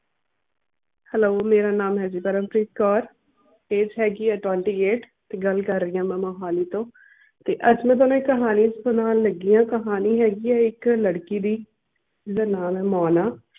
hello ਮੇਰਾ ਨਾਮ ਹੈ ਜੀ ਪਰਮਪ੍ਰੀਤ ਕੌਰ AGE ਹੈਗੀ ਹੈ twenty-eight ਤੇ ਗੱਲ ਕਰ ਰਹੀ ਆ ਮੈਂ ਮੋਹਾਲੀ ਤੋਂ ਤੇ ਅੱਜ ਮੈਂ ਥੋਨੂੰ ਇੱਕ ਕਹਾਣੀ ਸੁਣਾਉਣ ਲੱਗੀ ਆਂ ਕਹਾਣੀ ਹੈਗੀ ਆ ਇੱਕ ਲੜਕੀ ਦੀ ਜਿੰਦਾ ਨਾਮ ਹੈ ਮੋਨਾ